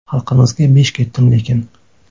Xalqimizga besh ketdim lekin.